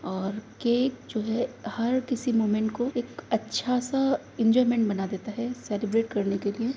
और केक जो है हर किसी मूमेंट को एक अच्छा सा एंजोयमेंट बना देता है सेलिब्रेट करने के लिए।